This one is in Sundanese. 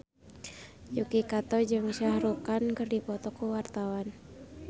Yuki Kato jeung Shah Rukh Khan keur dipoto ku wartawan